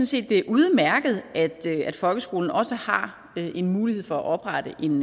set det er udmærket at folkeskolen også har en mulighed for at oprette en